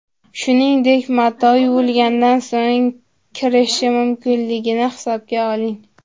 Shuningdek, mato yuvilgandan so‘ng kirishishi mumkinligini hisobga oling.